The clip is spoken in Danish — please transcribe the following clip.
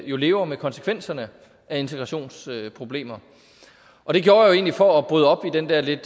jo lever med konsekvenserne af integrationsproblemer og det gjorde jeg egentlig for at bryde op i den der lidt